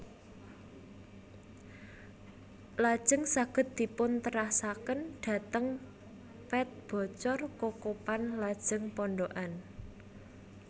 Lajeng saged dipun terasaken dhateng Pet Bocor Kokopan lajeng Pondokan